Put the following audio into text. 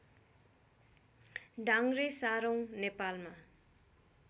डाङ्ग्रे सारौँ नेपालमा